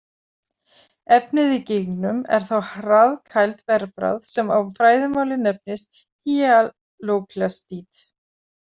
Efnið í gígnum er þá hraðkæld bergbráð sem á fræðimáli nefnist „hýalóklastít“.